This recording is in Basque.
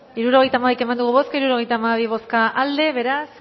hirurogeita hamabi eman dugu bozka hirurogeita hamabi boto aldekoa beraz